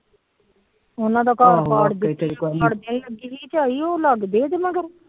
ਉਹਨਾ ਦਾ ਘਰ ਲੱਗਦੇ ਇਹਦੇ ਮਗਰ।